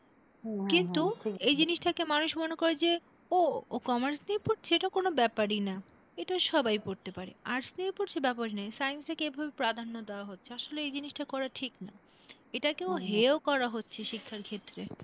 এই জিনিসটাকে মানুষ মনে করে যে ও ও commerce নিয়ে পড়ছে এটা কোন ব্যাপারই না এটা সবাই পড়তে পারে, arts নিয়ে পড়ছে, ব্যাপারই না science কেই প্রাধান্য দেওয়া হচ্ছে আসলে এই জিনিসটা করা ঠিক না এটাকেও হেও করা হচ্ছে শিক্ষার ক্ষেত্রে।